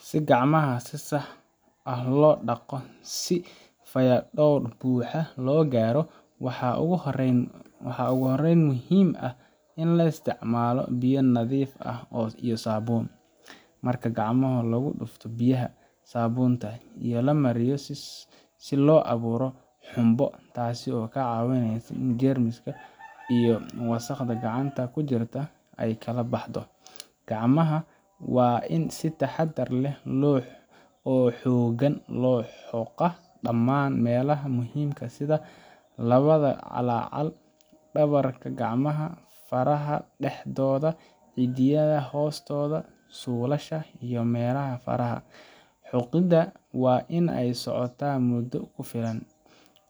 Si gacmaha si sax ah loo dhaqo si fayadhowr buuxa loo gaaro, waxaa ugu horreyn muhiim ah in la isticmaalo biyo nadiif ah iyo saabuun. Marka gacmaha lagu dhufto biyaha, saabuunta ayaa la mariyaa si loo abuuro xumbo, taas oo kaa caawinaysa in jeermiska iyo wasakhda gacanta ku jirta ay kala baxdo. Gacmaha waa in si taxaddar leh oo xooggan loo xoqaa dhammaan meelaha muhiimka ah sida labada calaacal, dhabarka gacmaha, faraha dhexdooda, ciddiyaha hoostooda, suulasha, iyo melaha faraha. Xoqidda waa in ay socotaa muddo ku filan,